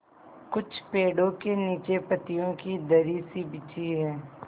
कुछ पेड़ो के नीचे पतियो की दरी सी बिछी है